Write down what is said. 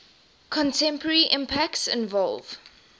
contemporary impacts involve